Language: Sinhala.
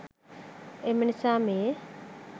එම නිසා මේ